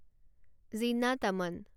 Zeenat Aman